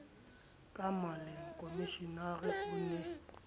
ka maleng komishenara o ne